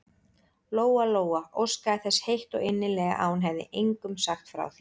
Lóa-Lóa óskaði þess heitt og innilega að hún hefði engum sagt frá því.